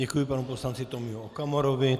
Děkuji panu poslanci Tomio Okamurovi.